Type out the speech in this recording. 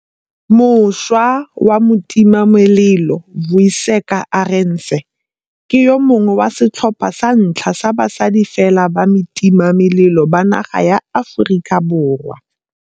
Mošwa wa motimamelelo Vuyiseka Arendse ke yo mongwe wa setlhopha sa ntlha sa basadi fela ba batimamelelo ba naga ya Aforika Borwa.